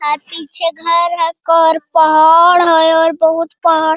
are पीछे घर हेय पहाड़ हेय और बहुत पहाड़ --